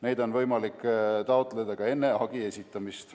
Neid on võimalik taotleda ka enne hagi esitamist.